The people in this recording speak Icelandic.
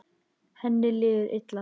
Henni líður illa.